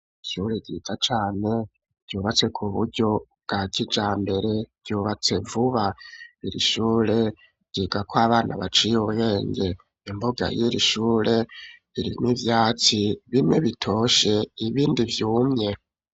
Ishure ryiza cane ryubatse ku buryo bwa kijambere, ryubatse vuba iri shure ryigako abana baciye ubwenge, imbuga y'irishure irimwo ivyatsi bimwe bitoshe, ibindi vyumye.